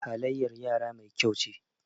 halyyar yara Mai kyau ce